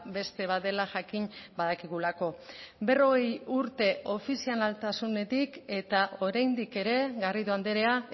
beste bat dela jakin badakigulako berrogei urte ofizialtasunetik eta oraindik ere garrido andrea